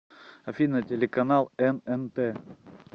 афина телеканал эн эн тэ